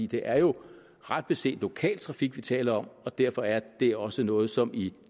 det er jo ret beset lokaltrafik vi taler om og derfor er det også noget som i